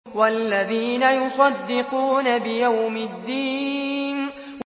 وَالَّذِينَ يُصَدِّقُونَ بِيَوْمِ الدِّينِ